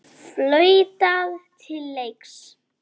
Flautað til leiks.